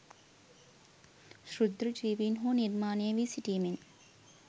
ක්ෂුද්‍ර ජීවීන් හෝ නිර්මාණය වී සිටීමෙන්